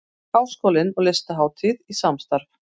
Háskólinn og Listahátíð í samstarf